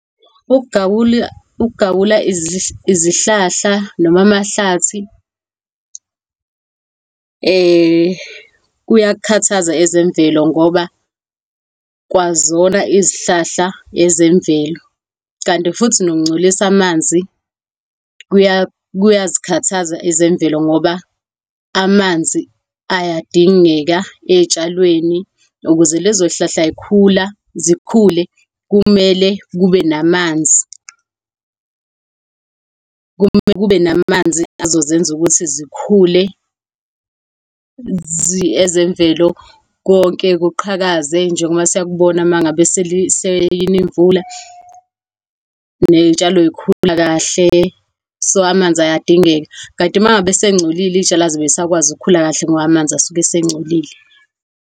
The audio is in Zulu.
Ukugawulwa izihlahla noma amahlathi kuyakukhathaza ezemvelo ngoba kwazona izihlahla ezemvelo, kanti futhi nokungcolisa amanzi kuyazikhathaza ezemvelo ngoba amanzi ayadingeka ey'tshalweni, ukuze lezo zihlahla zikhule kumele kube namanzi. Kumele kube namanzi azozenza ukuthi zikhule ezemvelo. Konke kuqhakaze njengoba sikubona mangabe selina imvula ney'tshalo zikhula kahle. So, amanzi ayadingeka, kanti mangabe asegcolile iy'tshalo azibe zisakwazi ukukhula kahle ngoba amanzi asuke esengcolile.